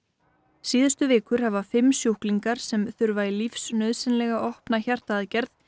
síðustu vikur hafa fimm sjúklingar sem þurfa í lífsnauðsynlega opna hjartaaðgerð